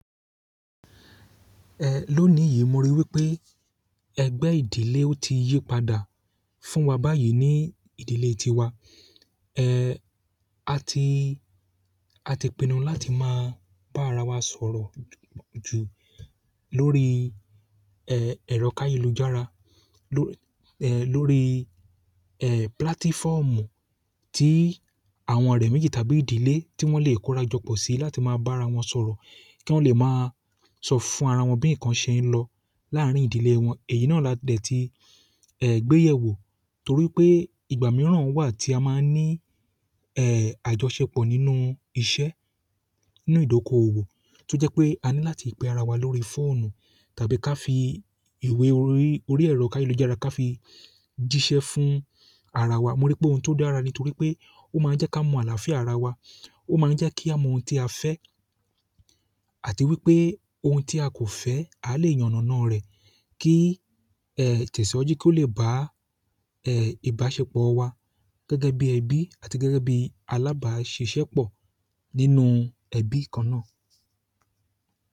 Lónìí yìí mo ríi wípé egbe ìdílé o ti yi padà fún wa báyìí ni ìdílé tiwa a ti, a ti pinnu láti máa bá ara wa sọ̀rọ̀ ju lórí ẹ̀rọ ká yelú jára lórí púlátífọ̀mù tí àwọn ọ̀rẹ́ méjì tàbí ìdílé tí wọ́n le kóra jọ pọ̀ sí láti máa bá ara wọn sọ̀rọ̀ kí wọ́n le máa sọ fún ara wọn bí ǹkan ṣe ń lọ láàárín ìdílé wọn. Èyí náà ládẹ̀ ti gbéyẹ̀ wò torí pé ìgbà mìíràn wà tí a máa ń ní àjọṣepọ̀ nínú iṣẹ́, nínú ìdókòwò tó jẹ́ pé a ní láti pe ara wa lórí fóònù tàbí ká fi ìwé orí, orí ẹ̀rọ ká yelú jára ká fi jíṣẹ́ fún ara wa. Mo ríi pé òun tó dára nítorí pé ó máa ń jẹ́ ká mọ àlàáfíà ara wa, ó máa ń jẹ́ kí a mọ ohun tí a fẹ́ àti wípé ohun tí a kò fẹ́ a lè yanàna rẹ̀ kí tẹ̀síwájú kí ó le bá ìbáṣepọ̀ wa gẹ́gẹ́ bí ẹbí àti gẹ́gẹ́ bí alábàáṣiṣẹ́ pọ̀ nínú ẹbí kan náà.